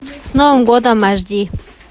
с новым годом аш ди